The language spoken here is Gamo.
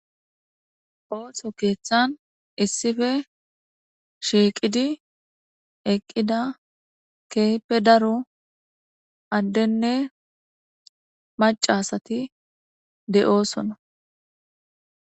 Ooto keeththan issife shiiqidi eqqida keepe daro addenne macasati de7oosona.